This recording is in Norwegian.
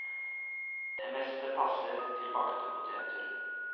Det meste passer til bakte poteter.